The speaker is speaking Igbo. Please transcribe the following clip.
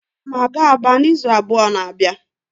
Aga m aga Aba n'izu abụọ na-abịa